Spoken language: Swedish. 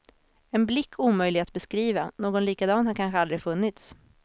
En blick omöjlig att beskriva, någon likadan har kanske aldrig funnits.